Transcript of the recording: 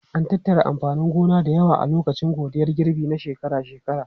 An tattara amfanin gona da yawa a lokacin godiyar girbi na shekara-shekara.